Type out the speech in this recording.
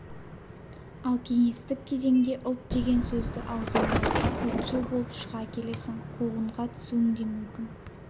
ал кеңестік кезеңде ұлт деген сөзді аузыңа алсаң ұлтшыл болып шыға келесің қуғынға түсуің де мүмкін